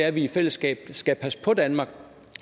at vi i fællesskab skal passe på danmark